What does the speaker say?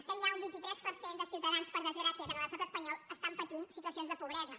estem ja a un vint tres per cent de ciutadans per desgràcia que en l’estat espanyol estan patint situacions de pobresa